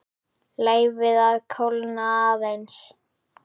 Leyfið að kólna aðeins.